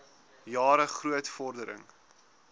jare groot vordering